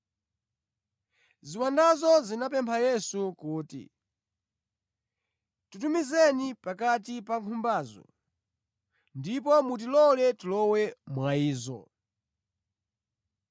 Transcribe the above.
Ziwandazo zinapempha Yesu kuti, “Titumizeni pakati pa nkhumbazo; ndipo mutilole tilowe mwa izo.”